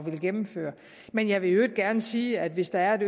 ville gennemføre men jeg vil i øvrigt gerne sige at hvis der